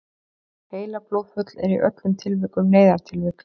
heilablóðfall er í öllum tilvikum neyðartilvik